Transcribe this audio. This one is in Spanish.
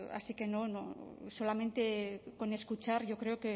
así que solamente con escuchar yo creo